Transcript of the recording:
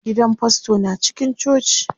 Gidan fasto na cikin coci.